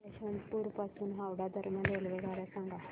यशवंतपुर पासून हावडा दरम्यान रेल्वेगाड्या सांगा